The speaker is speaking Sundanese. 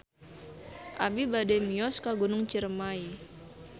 Abi bade mios ka Gunung Ciremay